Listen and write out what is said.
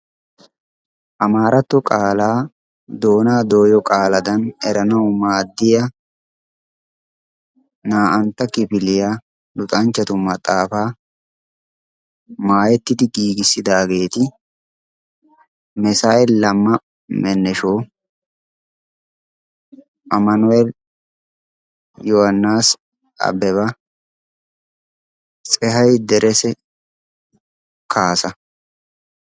amaaratto qaalaa doonaa dooyiyo qaaladan eranawu maaddiya naa"antta kifiliyaa luxanchchatu maxaafaa maayettidi giigissidaageeti mesay lamma mennesho amanuweel yohaannis abbebaa tsehay derese kaasa